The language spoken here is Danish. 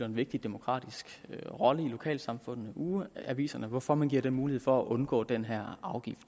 en vigtig demokratisk rolle i lokalsamfundene nemlig ugeaviserne hvorfor man giver dem mulighed for at undgå den her afgift